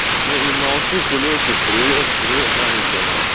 я не молчу кулёчек привет привет маленькая моя